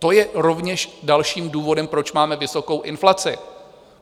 To je rovněž dalším důvodem, proč máme vysokou inflaci.